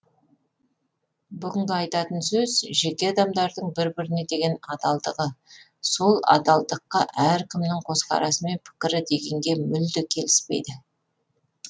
бүгінгі айтатын сөз жеке адамдардың бір біріне деген адалдығы сол адалдыққа әркімнің көзқарасы мен пікірі дегенге мүлде келіспейді